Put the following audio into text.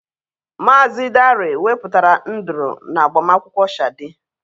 Mazị Dare wepụtara nduru na agbamakwụkwọ Shade.